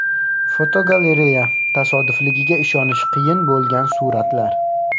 Fotogalereya: Tasodifligiga ishonish qiyin bo‘lgan suratlar.